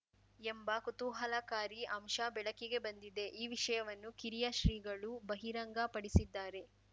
ಎಂಬ ಕುತೂಹಲಕಾರಿ ಅಂಶ ಬೆಳಕಿಗೆ ಬಂದಿದೆ ಈ ವಿಷಯವನ್ನು ಕಿರಿಯ ಶ್ರೀಗಳು ಬಹಿರಂಗ ಪಡಿಸಿದ್ದಾರೆ